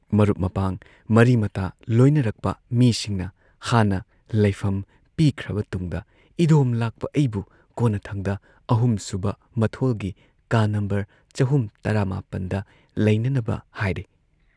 ꯃꯔꯨꯞ ꯃꯄꯥꯡ, ꯃꯔꯤ ꯃꯇꯥ ꯂꯣꯏꯅꯔꯛꯄ ꯃꯤꯁꯤꯡꯅ ꯍꯥꯟꯅ ꯂꯩꯐꯝ ꯄꯤꯈ꯭ꯔꯕ ꯇꯨꯡꯗ ꯏꯗꯣꯝ ꯂꯥꯛꯄ ꯑꯩꯕꯨ ꯀꯣꯟꯅꯊꯪꯗ ꯑꯍꯨꯝꯁꯨꯕ ꯃꯊꯣꯜꯒꯤ ꯀꯥ ꯅꯝꯕꯔ ꯆꯍꯨꯝ ꯇꯔꯥꯃꯥꯄꯟꯗ ꯂꯩꯅꯅꯕ ꯍꯥꯏꯔꯦ ꯫